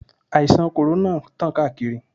Àìsàn kòrónà tán káàkiri.